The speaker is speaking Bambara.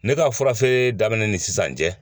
Ne ka furafeere daminɛ ni sisan cɛ